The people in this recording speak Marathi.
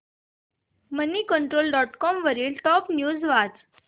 मनीकंट्रोल डॉट कॉम वरील टॉप न्यूज वाच